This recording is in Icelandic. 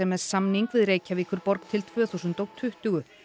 með samning við Reykjavíkurborg til tvö þúsund og tuttugu